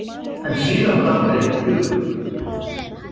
En síðan datt mér eitt í hug.